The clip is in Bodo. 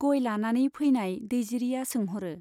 गय लानानै फैनाय दैजिरिया सोंह'रो।